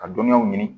Ka dɔnniyaw ɲini